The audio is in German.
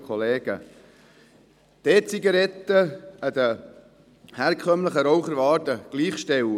Die E-Zigaretten sind den herkömmlichen Raucherwaren gleichzustellen.